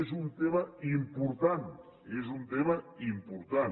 és un tema important és un tema important